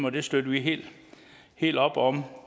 og det støtter vi helt helt op om